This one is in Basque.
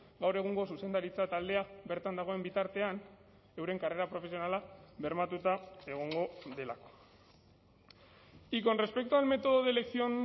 gaur egungo zuzendaritza taldea bertan dagoen bitartean euren karrera profesionala bermatuta egongo delako y con respecto al método de elección